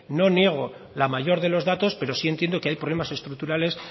no niego la mayor de los datos pero sí entiendo que hay problemas estructurales